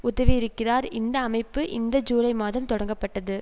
உதவியிருக்கிறார் இந்த அமைப்பு இந்த ஜூலை மாதம் தொடங்கப்பட்டது